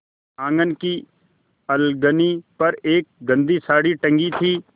आँगन की अलगनी पर एक गंदी साड़ी टंगी थी